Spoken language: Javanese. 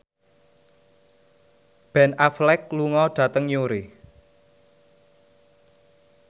Ben Affleck lunga dhateng Newry